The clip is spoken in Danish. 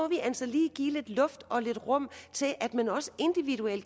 altså lige give lidt luft og lidt rum til at man også